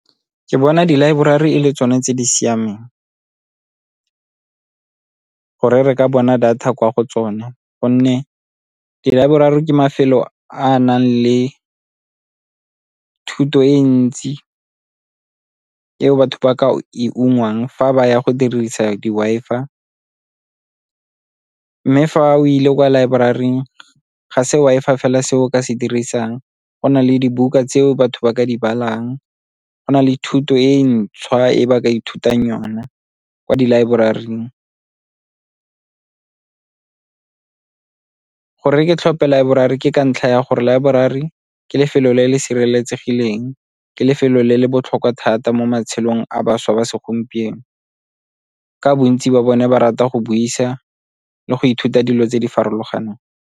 Ke bona dilaeborari e le tsone tse di siameng gore re ka bona data kwa go tsone gonne dilaeborari ke mafelo a a nang le thuto e ntsi eo batho ba ka e ungwang fa ba ya go dirisa di-Wi-Fi. Mme fa o ile kwa laeboraring ga se Wi-Fi fela se o ka se dirisang go na le dibuka tseo batho ba ka di balang, go na le thuto e ntšhwa e batho ba ka ithutang sona kwa di laeboraring. Gore ke tlhophe laeborari ke ka ntlha ya gore laeborari ke lefelo le le sireletsegileng ke lefelo le le botlhokwa thata mo matshelong a bašwa ba segompieno ka bontsi ba bone ba rata go buisa le go ithuta dilo tse di farologaneng.